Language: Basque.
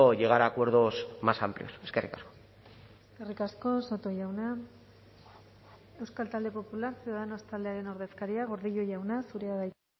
llegar a acuerdos más amplios eskerrik asko eskerrik asko soto jauna euskal talde popular ciudadanos taldearen ordezkaria gordillo jauna zurea da hitza